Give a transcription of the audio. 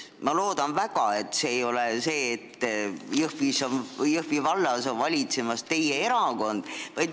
Ma loodan väga, et Jõhvis need argumendid ei tulene sellest, et Jõhvi vallas valitseb teie erakond.